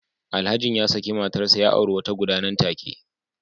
Alhajin ya saki matarsa ​​ya auri wata guda nan take